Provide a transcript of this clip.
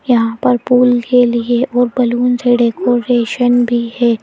यहां पर पूल के लिए और बलून से डेकोरेशन भी है।